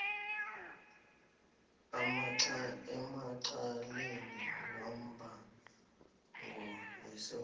emacaleni wombango asuselwa